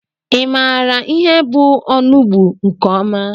I maara ihe bụ ọnụgbu nke ọma?